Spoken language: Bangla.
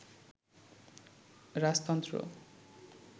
রাজতন্ত্র